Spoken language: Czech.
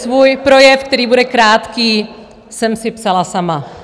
Svůj projev, který bude krátký, jsem si psala sama.